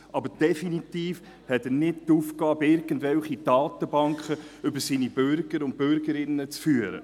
Er hat definitiv nicht die Aufgabe, irgendwelche Datenbanken über seine Bürger und Bürgerinnen zu führen.